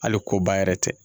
Hali koba yɛrɛ tɛ